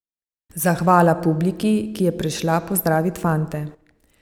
Zahvala publiki, ki je prišla pozdravit fante.